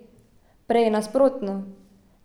Prej nasprotno.